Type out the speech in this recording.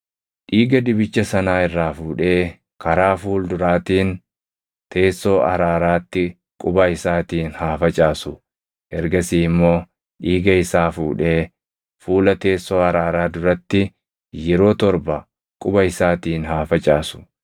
Dhiiga dibicha sanaa irraa fuudhee karaa fuulduraatiin teessoo araaraatti quba isaatiin haa facaasu; ergasii immoo dhiiga isaa fuudhee fuula teessoo araaraa duratti yeroo torba quba isaatiin haa facaasu.